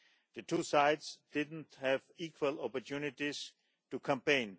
The two sides did not have equal opportunities to campaign.